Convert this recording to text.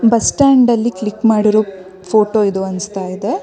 Bus stand ಅಲ್ಲಿ click ಮಾಡಿರೋ photo ಇದು ಅನ್ನಿಸ್ತಾ ಇದೆ.